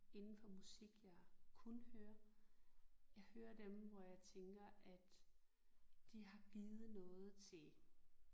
Indenfor musik jeg kun hører. Jeg hører dem hvor jeg tænker at de har givet noget til